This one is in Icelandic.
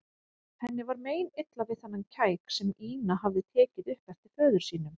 Henni var meinilla við þennan kæk sem Ína hafði tekið upp eftir föður sínum.